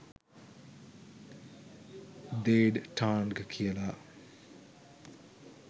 දේඩ් ටාන්ග් කියලා.